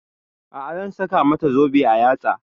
A'a zan saka mata zobe a yatsa